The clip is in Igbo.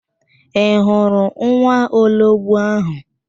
Ị hụrụ nwaologbo áhụ̀?